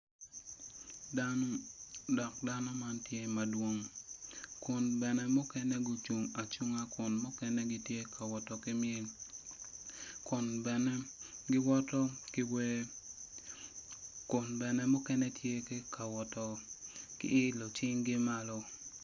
Dano dok dano man tye madwong kun bene mukene gucung acunga kun mukene gitye ka woto ki myel kun bene giwoto ki wer kun bene mukene tye ki ka woto ki ilo cinggi woko